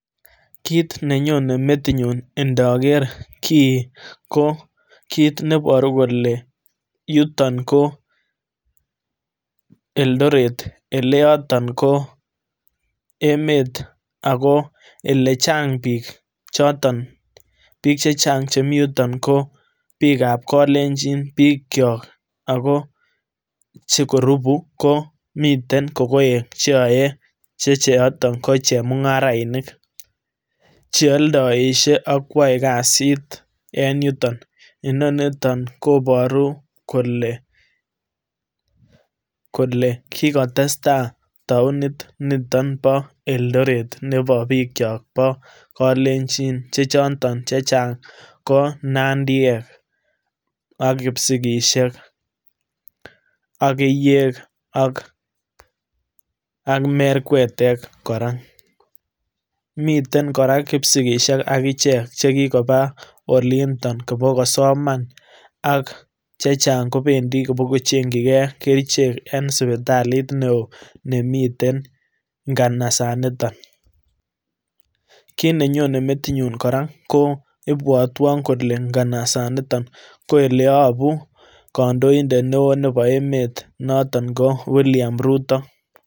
kiit nenyone metinyun ndoker kii ko kit neboru kole yuton ko Eldoret eleyoton ko emet ako elechang biik choton biik chechang chemii yuton kobiik ab kolenjin biikyok ako chekorubu ko miten kokoek cheyoe checheoto kochemungarainik cheoldoisye akwoe kasit eng yuton inoniton koboru kole kikotestai taonit niton bo Eldoret nebo biikyok bo kalenjin chechoton ko chechang ko nandiek ak kipsigisiek ak keiyek ak ak merkwetek kora miten kora kipsigisiek akichek chekikoba olindo kobokosoman ak chechang kobendii kobokochengkyin kee kerichek en sipitalit newoo nemiten nganasaniton kiit nenyone metinyun kora ko ibwotwon kole nganasaniton ko eleyobu kondoindet newoo nebo emet noto ko William Ruto